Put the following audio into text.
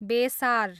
बेसार